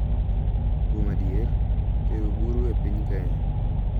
Kuom adier, tero buru e piny Kenya